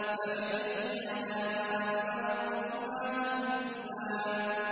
فَبِأَيِّ آلَاءِ رَبِّكُمَا تُكَذِّبَانِ